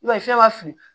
I b'a ye fɛn b'a fin